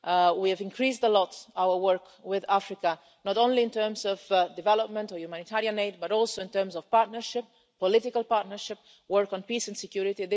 We have increased a lot our work with Africa, not only in terms of development or humanitarian aid, but also in terms of partnership, political partnership, and work on peace and security.